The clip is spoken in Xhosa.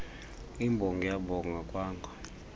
imbongi yabonga kwanga